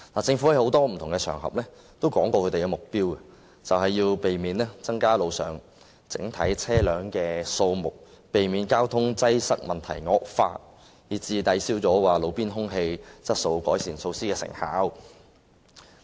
政府曾在多個不同場合提出其目標，便是要避免增加路上整體車輛的數目，避免交通擠塞問題惡化，以致抵銷路邊空氣質素改善措施的成效。